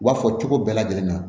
U b'a fɔ cogo bɛɛ lajɛlen na